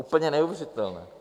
Úplně neuvěřitelné!